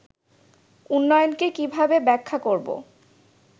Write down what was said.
উন্নয়নকে কীভাবে ব্যাখ্যা করব